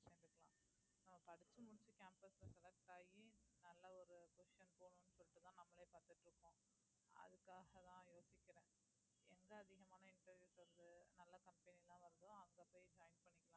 நான் படிச்சு முடிச்சு campus ல select ஆகி நல்ல ஒரு position போனும்னு சொல்லிட்டு தான் நம்மளே பாத்துட்டு இருக்கோம் அதுக்காகதான் யோசிக்கிறேன் எங்க அதிகமான interviews வருது நல்ல company எல்லாம் வருதோ அங்க போய் join பண்ணிக்கலாம்னு இருக்கேன்